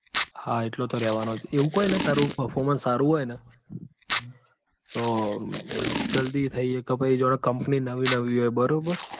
હા એટલો તો રેવાનો જ એવું કઈ નઈ તારું performance સારું હોય ન તો જલ્દી થઇ એક પેસી જોનેનવી નવી હોય બરોબર.